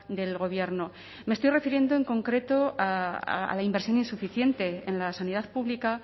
del gobierno me estoy refiriendo en concreto a la inversión insuficiente en la sanidad pública